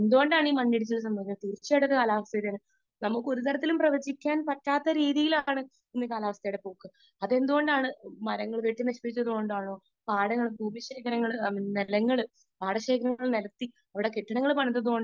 speaker 2 എന്ത് കൊണ്ടാണ് മണ്ണിടിച്ചിൽ ഉണ്ടാവുന്നത് തീർച്ചയായും അത് കാലാവസ്ഥയുടേതാണ് നമുക്ക് ഒരുതരത്തിലും പ്രവചിക്കാൻ പറ്റാത്ത രീതിയിലാണ് കാലാവസ്ഥയുടെ പോക്ക് അതെന്തുകൊണ്ടാണ് മരങ്ങൾ വെട്ടി നശിപ്പിച്ചത് കൊണ്ടാണോ പാടശേഖരം നികത്തി അവിടെ കെട്ടിടം പണിതത് കൊണ്ടാണോ